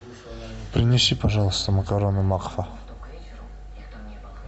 принеси пожалуйста макароны макфа